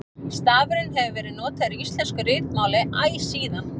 Stafurinn hefur verið notaður í íslensku ritmáli æ síðan.